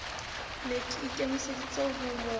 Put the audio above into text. ne a ikemeseditse ho mo